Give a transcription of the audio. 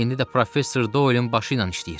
İndi də professor Doilin başı ilə işləyir.